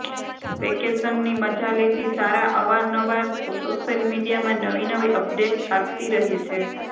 વેકેશનની મજા લેતી સારા અવાર નવાર સોશિયલ મીડિયામાં નવી નવી અપડેટ્સ આપતી રહે છે